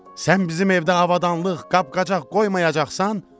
Sən bizim evdə avadanlıq, qab-qacaq qoymayacaqsan?